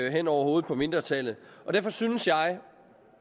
hen over hovedet på mindretallet jeg synes